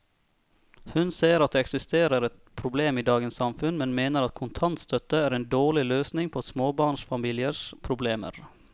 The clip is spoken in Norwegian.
Hun ser at det eksisterer et problem i dagens samfunn, men mener at kontantstøtte er en dårlig løsning på småbarnsfamiliers problemer.